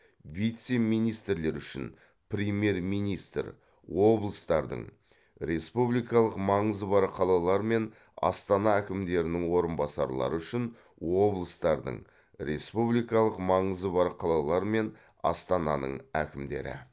вице министрлер үшін премьер министр облыстардың республикалық маңызы бар қалалар мен астана әкімдерінің орынбасарлары үшін облыстардың республикалық маңызы бар қалалар мен астананың әкімдері